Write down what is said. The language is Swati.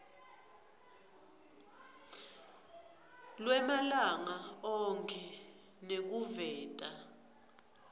lwemalanga onkhe nekuveta